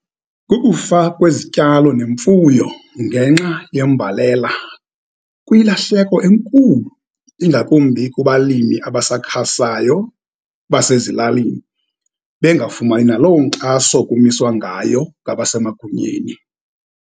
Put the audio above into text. Kukufa kwezityalo nemfuyo ngenxa yembalela, kwilahleko enkulu, ingakumbi kubalimi abasakhasayo basezilalini, bengafumani naloo nkxaso kumiswa ngayo ngabasemagunyeni.